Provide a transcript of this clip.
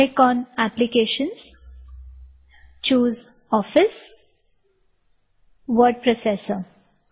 click on applications - choose Office word processor